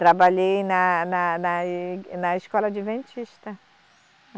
Trabalhei na, na, na e, na escola adventista.